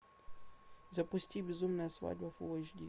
запусти безумная свадьба фул эйч ди